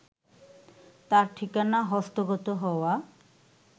তার ঠিকানা হস্তগত হওয়া